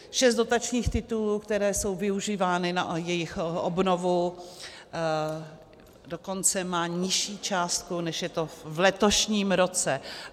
Šest dotačních titulů, které jsou využívány na jejich obnovu, dokonce má nižší částku, než je to v letošním roce.